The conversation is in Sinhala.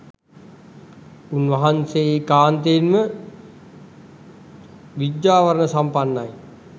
උන්වහන්සේ ඒකාන්තයෙන්ම විජ්ජාචරණ සම්පන්නයි